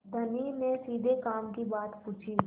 धनी ने सीधे काम की बात पूछी